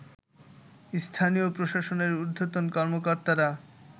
স্থানীয় প্রশাসনের ঊর্ধ্বতন কর্মকর্তারা